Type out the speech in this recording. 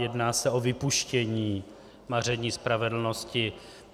Jedná se o vypuštění maření spravedlnosti.